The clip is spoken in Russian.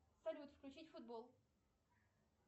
салют включить футбол